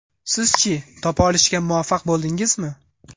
Siz-chi, topa olishga muvaffaq bo‘ldingizmi?